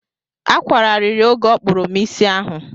Akwara ariri oge ọ kpụrụ m isi ahụ.